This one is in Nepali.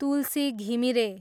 तुलसी घिमिरे